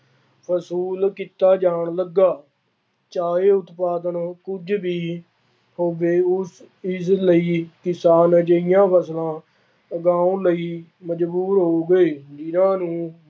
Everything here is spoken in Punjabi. ਵਸੂਲ ਕੀਤਾ ਜਾਣ ਲੱਗਾ। ਚਾਹੇ ਉਤਪਾਦਨ ਕੁੱਝ ਵੀ ਹੋਵੇ, ਉਸ ਚੀਜ਼ ਲਈ ਕਿਸਾਨ ਅਜਿਹੀਆ ਫਸਲਾਂ ਉਗਾਉਣ ਲਈ ਮਜ਼ਬੂਰ ਹੋ ਗਏ। ਜਿੰਨ੍ਹਾ ਨੂੰ